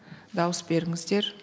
дауыс беріңіздер